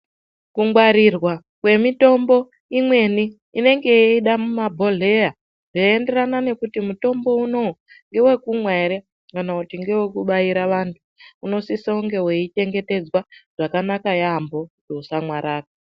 Kungwarirwa kwemitombo imweni inenge yeida mumabhodhleya, yeienderana nekuti mutombo uno uyu ngewekumwa here kana kuti ngewekubaira vanhu. Unosisa kunge weichengetedzwa zvakanaka yaambo kuti usamwarara.